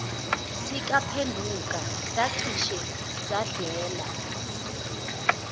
sikaphenduka sacishe sadlela